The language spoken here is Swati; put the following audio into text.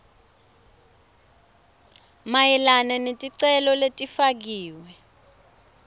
mayelana neticelo letifakiwe